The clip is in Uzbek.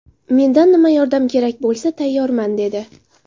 Mendan nima yordam kerak bo‘lsa, tayyorman”, dedi.